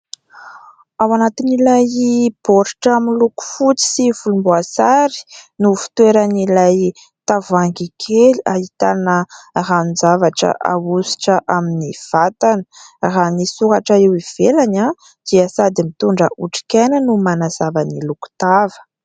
Ao anatin'ilay baoritra miloko fotsy sy volomboasary no fitoeran'ilay tavohangy kely ahitana ranon-javatra ahositra amin'ny vatana, raha ny soratra eo ivelany dia sady mitondra otrik'aina no manazavan'ny lokotava.